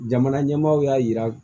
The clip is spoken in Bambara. Jamana ɲɛmaaw y'a yira